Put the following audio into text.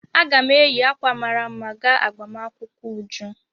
Aga m eyi ákwà mara mma gaa agbamakwụkwọ Uju.